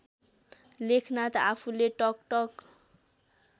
लेखनाथ आफूले टकटक